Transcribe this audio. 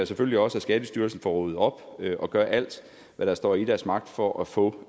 selvfølgelig også at skattestyrelsen får ryddet op og gør alt hvad der står i deres magt for at få